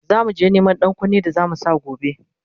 zamuje Neman ɗankunne da zamu Sa gobe